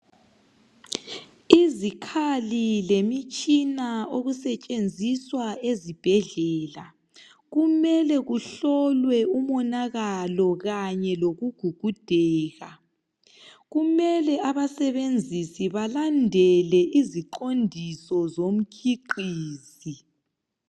Izikhali lemitshina okusetshenziswa ezibhedlela kumele kuhlolwe umonakalo kanye lokugugudeka kumele abasebenzisi balandele iziqondiso zomkhiqizi.